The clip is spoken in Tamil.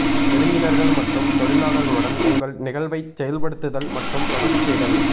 விருந்தினர்கள் மற்றும் தொழிலாளர்களுடன் உங்கள் நிகழ்வைச் செயல்படுத்துதல் மற்றும் தொடர்பு செய்தல்